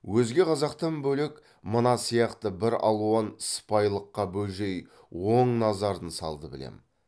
өзге қазақтан бөлек мына сияқты бір алуан сыпайылыққа бөжей оң назарын салды білем